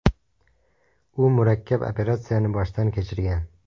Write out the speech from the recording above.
U murakkab operatsiyani boshdan kechirgan.